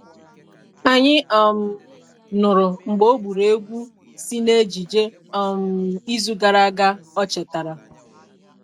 Anyị um nụrụ mgbe ọ gburu egwu si na ejije um izu gara aga o chetara